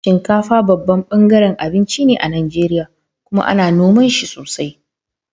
Shinkafa babban ɓangaren abinci ne a Najeriya kuma ana noma shi sosai.